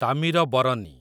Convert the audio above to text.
Tamirabarani